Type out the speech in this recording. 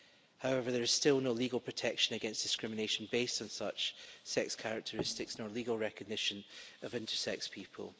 However, there is still no legal protection against discrimination based on such sex characteristics no legal recognition of intersex people.